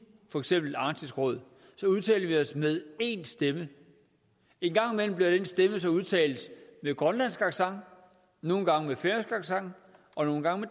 for eksempel arktisk råd udtaler vi os med én stemme en gang imellem bliver den stemme så udtalt med grønlandsk accent nogle gange med færøsk accent og nogle gange